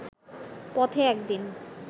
পথে একদিন